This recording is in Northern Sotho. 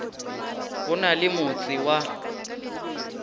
go na le motse wa